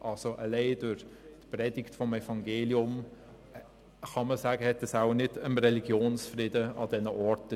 Man kann also sagen, alleine die Predigt des Evangeliums habe wohl an diesen Orten nicht dem Religionsfrieden gedient.